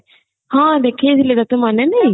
ହଁ ଦେଖେଇ ଥିଲେ ତତେ ମନେ ନାହିଁ